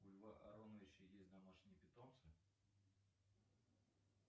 у льва ароновича есть домашние питомцы